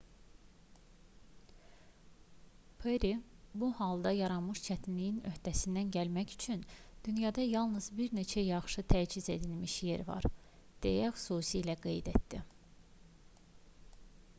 perri bu halda yaranmış çətinliyin öhdəsindən gəlmək üçün dünyada yalnız bir neçə yaxşı təchiz edilmiş yer var deyə xüsusilə qeyd etdi